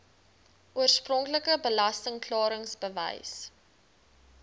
oorspronklike belasting klaringsbewys